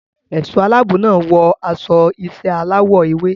Ẹ̀ṣọ́ aláàbò náà wọ aṣọ iṣẹ́ aláwọ̀ ewé.